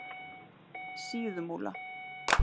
Síðumúla